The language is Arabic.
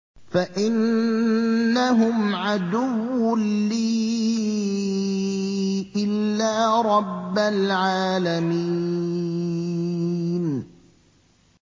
فَإِنَّهُمْ عَدُوٌّ لِّي إِلَّا رَبَّ الْعَالَمِينَ